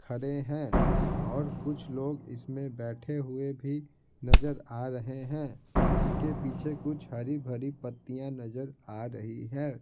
खड़े हैं और कुछ लोग इसमें बैठे हुए भी नजर आ रहे हैं इनके पीछे कुछ हरी-भरी पत्तियाँ नजर आ रही है।